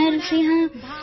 હે વીર નરસિંહ